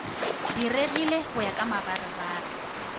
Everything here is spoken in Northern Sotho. diregile go ya ka mabarebare